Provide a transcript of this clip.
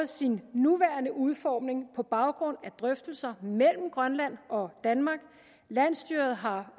sin nuværende udformning på baggrund af drøftelser mellem grønland og danmark landsstyret har